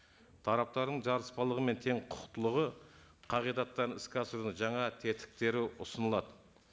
тараптардың жарыспалығы мен тең құқықтылығы қағидаттан іске асырудың жаңа тетіктері ұсынылады